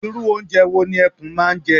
Irú oúnjẹ wo ni ẹkún máa ń jẹ?